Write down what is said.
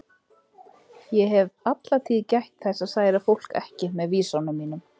Ég hef alla tíð gætt þess að særa fólk ekki með vísunum mínum.